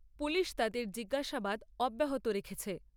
Police তাদের জিজ্ঞাসাবাদ অব্যাহত রেখেছে ।